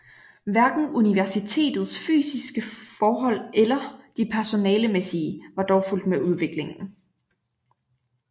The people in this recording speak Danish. Hverken universitetets fysiske forhold eller de personalemæssige var dog fulgt med udviklingen